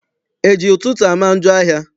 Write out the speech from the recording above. E ji ụtụtụ ama njọ ahịa?